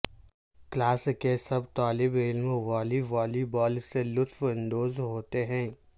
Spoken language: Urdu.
کلاس کے سب طالب علم والی والی بال سے لطف اندوز ہوتے ہیں